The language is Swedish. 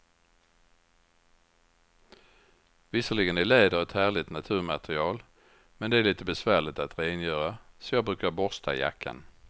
Visserligen är läder ett härligt naturmaterial, men det är lite besvärligt att rengöra, så jag brukar borsta jackan.